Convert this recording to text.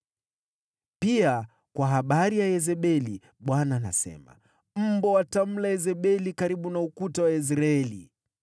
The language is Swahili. “Pia kwa habari ya Yezebeli Bwana anasema, ‘Mbwa watamla Yezebeli karibu na ukuta wa Yezreeli.’